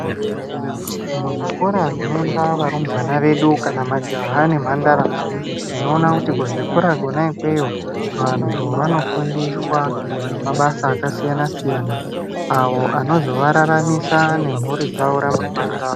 Muzvikora zvinoenda varumbwana vedu kana majaha nemhandara tinona kuti kuzvikora kwona ikweyo vantu vanofundiswa mabasa akasiyana siyana avo anozovararamisa nemhuri dzawo ramangwani rawo.